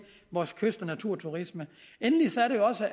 vores kyst og naturturisme endelig